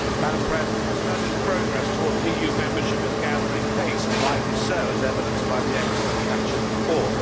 Madam President, Serbia's progress towards EU membership is gathering pace, and rightly so, as evidenced by the excellent Kacin report.